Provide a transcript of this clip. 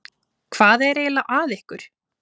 Hvað er eiginlega að ykkur?